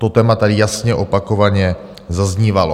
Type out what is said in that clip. To téma tady jasně opakovaně zaznívalo.